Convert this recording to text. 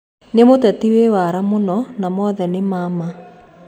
Nĩ mũteti wĩ wara mũno, na mothe nĩma ma.